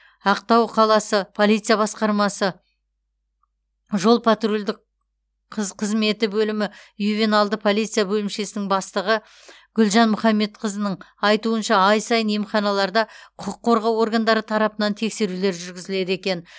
ақтау қаласы полиция басқармасы жол патрульдік қыз қызметі бөлімі ювеналды полиция бөлімшесінің бастығы гүлжан мұхамбетқызының айтуынша ай сайын емханаларда құқық қорғау органдары тарапынан тексерулер жүргізіледі екен